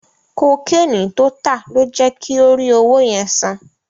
Kokéènì tó tà ló jẹ kí ó rí owó yẹn san.